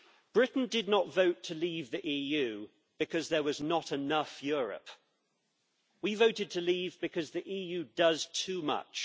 Britain did not vote to leave the EU because there was not enough Europe we voted to leave because the EU does too much.